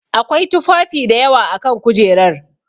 Akwai tufafi dayawa a kan kujerar.